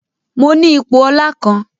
Mọ ní ipò ọla kán